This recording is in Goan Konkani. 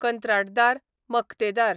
कंत्राटदार, मक्तेदार